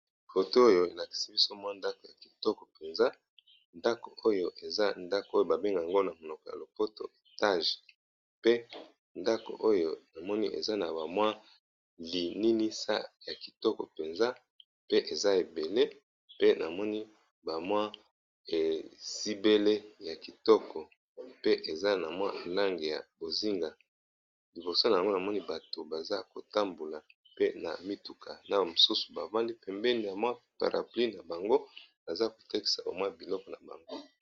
Photo oyo elakisi biso mwa ndako ya kitoko mpenza ndako oyo eza ndako oyo babengaka yango na monoko ya lopoto etage pe ndako, oyo namoni eza na bamwa lininisa ya kitoko mpenza pe eza ebele pe namoni bamwa esibele ya kitoko pe eza na lange ya bozinga liboso na yango namoni bato baza kotambola pe na mituka naba mosusu bafandi pembeni ya mwa paraplye na bango aza kotakisa biloko na bango.